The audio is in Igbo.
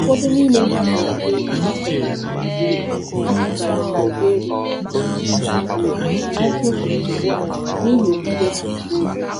Ụfọdụ n’ime ha bụ ndị a chụgara a chụgara Saịberịa na 1951 n’ihi okwukwe ha.